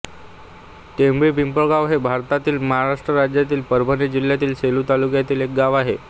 ढेंगळी पिंपळगाव हे भारताच्या महाराष्ट्र राज्यातील परभणी जिल्ह्यातील सेलू तालुक्यातील एक गाव आहे